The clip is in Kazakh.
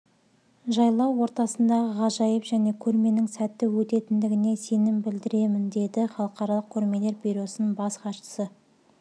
жайлау ортасындағы ғажайып және көрменің сәтті өтетіндігіне сенім білдіреміні деді халақыралық көрмелер бюросының бас хатшысы